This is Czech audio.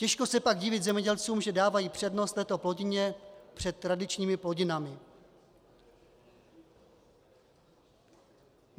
Těžko se pak divit zemědělcům, že dávají přednost této plodině před tradičními plodinami.